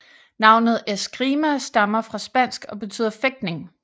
Navnet Escrima stammer fra spansk og betyder fægtning